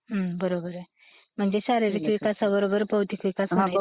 हम्म!! बरोबर आहे .. महणजे शारीरिक विकासा बरोबर बौद्धिक विकास ping conversation of both the speakers.. No clarity